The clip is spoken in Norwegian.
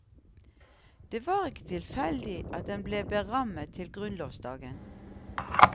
Det var ikke tilfeldig at den ble berammet til grunnlovsdagen.